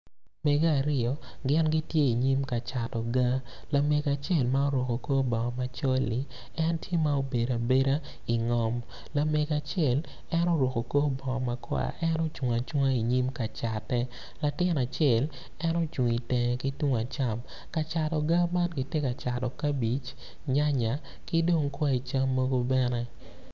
Mege aryo gin gitye anyim kacato ga lamego acel ma oruku kor bongo macol-li en tye ma obedo abeda ingom lamego acel en oruku kor bongo makwar en ocung acunga i nyim kacatte latin acel en ocung itenge ki tung acam kacato ga man ki ti kacato kabic nyanya ki dong kwai cam mogo bene